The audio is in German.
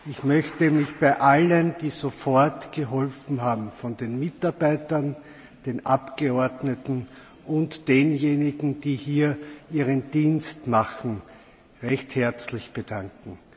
Ich möchte mich bei allen, die sofort geholfen haben den Mitarbeitern, den Abgeordneten und denjenigen, die hier ihren Dienst tun recht herzlich bedanken.